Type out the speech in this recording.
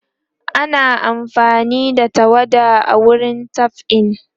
ana amfani da tawada a wurin dab'i